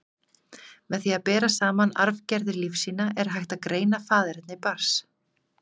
Með því að bera saman arfgerðir lífsýna, er hægt að greina faðerni barns.